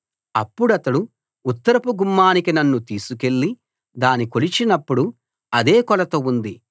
అప్పుడతడు ఉత్తరపు గుమ్మానికి నన్ను తీసుకెళ్ళి దాని కొలిచినప్పుడు అదే కొలత ఉంది